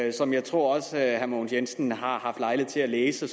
og som jeg tror herre mogens jensen også har haft lejlighed til at læse